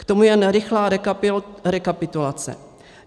K tomu jen rychlá rekapitulace.